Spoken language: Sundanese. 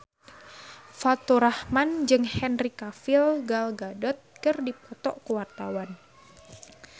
Faturrahman jeung Henry Cavill Gal Gadot keur dipoto ku wartawan